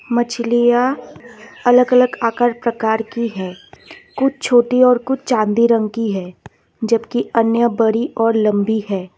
मछलियां अलग अलग आकार प्रकार की है कुछ छोटी और कुछ चांदी रंग की है जबकि अन्य बड़ी और लंबी है।